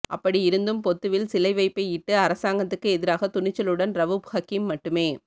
அப்படியிருந்தும் பொத்துவில் சிலைவைப்பையிட்டு அரசாங்கத்துக்கு எதிராக துணிச்சலுடன் ரவுப் ஹக்கீம் மட்டுமே